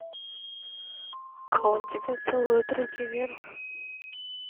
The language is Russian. а он тебя целует руки вверх